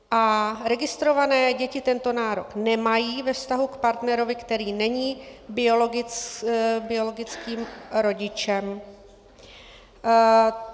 A registrované - děti tento nárok nemají ve vztahu k partnerovi, který není biologickým rodičem.